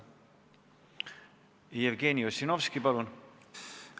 Jevgeni Ossinovski, palun!